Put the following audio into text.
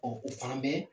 o fana bɛ